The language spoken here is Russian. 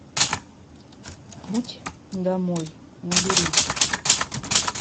путь домой набери